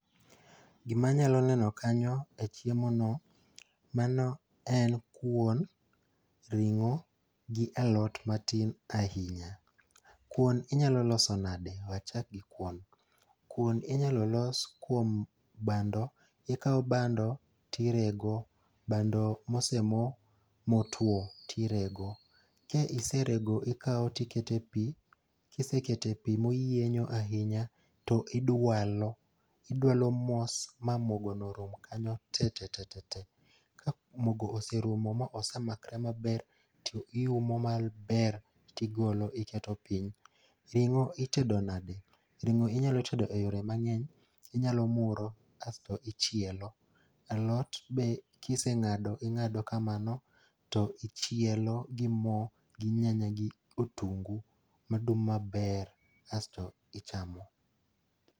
Gimanyalo neno kanyo e chiemono mano en kuon ,ring'o gi alot matin ahinya. Kuon inyalo loso nadi?. We achak gi kuon, kuon inyalo los kuom bando. Ikawo bando, tirego ,bando mosemo motuwo, tirego. Kiserego, ikawo tikete pi, kiseketo e pi moyienyo ahinya, to idwalo, idwalo mos ma mogono rum kanyo tetete. Ka mogo oserumo ma osemakre maber, tiumo maber tigolo iketo piny. Ring'o itedo nadi?. Ring'o inyalo tedo e yore mang'eny. Inyalo muro kasto ichielo. Alot be kiseng'ado, ing'ado kamabo to ichielo gi mo gi nyanya gotungu madum maber asto ichamo.